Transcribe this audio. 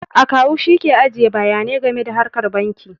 Akawu shi ke ajiye bayanai game da harkar banki